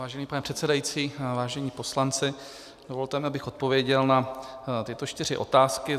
Vážený pane předsedající, vážení poslanci, dovolte mi, abych odpověděl na tyto čtyři otázky.